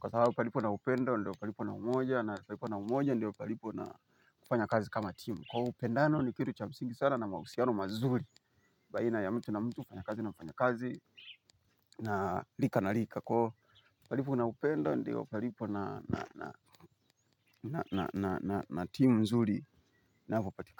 kwa sababu palipo na upenda ndio palipo na umoja na palipo na umoja ndio palipo na kufanya kazi kama team. Kwa upendano ni kitu cha msingi sana na mausiano mazuri baina ya mtu na mtu mfanyakazi na mfanyakazi na rika na rika. Kwa palipo na upenda ndio palipo na na team nzuri inapopatikana.